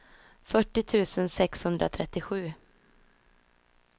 fyrtio tusen sexhundratrettiosju